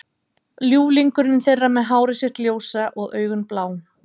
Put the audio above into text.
Ljúflingurinn þeirra með hárið sitt ljósa og augun blá.